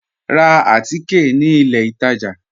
Rá àtìké ní ilẹ̀ ìtajá